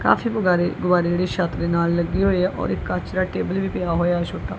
ਕਾਫੀ ਬੁਗਾਰੇ ਗੁਬਾਰੇ ਜਿਹੜੇ ਛੱਤ ਦੇ ਨਾਲ ਲੱਗੇ ਹੋਏ ਆ ਔਰ ਇੱਕ ਕੱਚ ਦਾ ਟੇਬਲ ਵੀ ਪਿਆ ਹੋਇਆ ਛੋਟਾ।